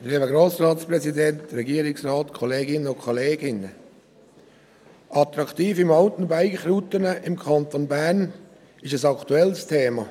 Attraktive Mountainbike-Routen sind im Kanton Bern ein aktuelles Thema.